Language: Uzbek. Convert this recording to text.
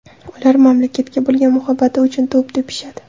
Ular mamlakatga bo‘lgan muhabbati uchun to‘p tepishadi.